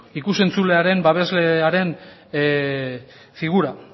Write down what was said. ikus entzulearen babeslearen figura